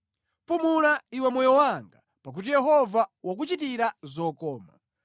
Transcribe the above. Pumula iwe moyo wanga, pakuti Yehova wakuchitira zokoma.